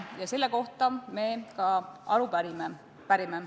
Ja selle kohta me ka aru pärime.